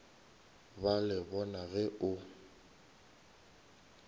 ba le bona ge o